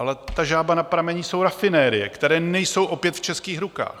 Ale ta žába na prameni jsou rafinerie, které nejsou opět v českých rukách.